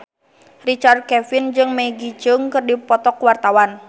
Richard Kevin jeung Maggie Cheung keur dipoto ku wartawan